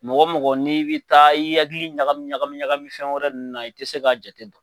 Mɔgɔ mɔgɔ n'i bɛ taa i hakili ɲagami ɲagami ɲagami fɛn wɛrɛ nunnu na i tɛ se k'a jate dɔn.